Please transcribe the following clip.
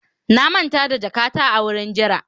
na manta jakata a wurin jira